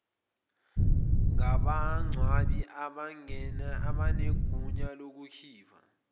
ngabangcwabi abanegunya lokukhipha